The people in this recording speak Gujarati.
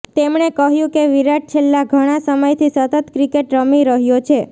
તેમણે કહ્યુ કે વિરાટ છેલ્લા ઘણા સમયથી સતત ક્રિકેટ રમી રહ્યો છે